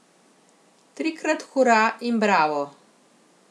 Trikrat hura in bravo!